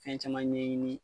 Fɛn caman ɲɛɲini